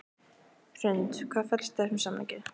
Hrund: Hvað felst í þessum samningi?